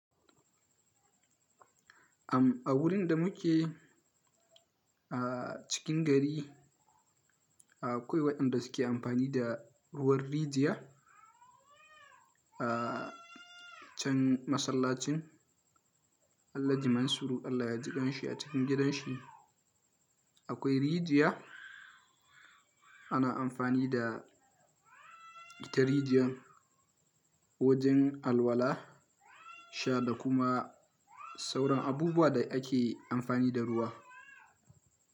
Am a wurin da mu ke a cikin gari, akwai waɗanda suke amfani da ruwan rijiya a can masallacin Allahji Mansuru Allah ya jikan shi a cikin gidan shi. Akwai rijiya ana amfani da ita rijiyan wajen alwala, sha da kuma sauran abubuwa da ake amfani da ruwa.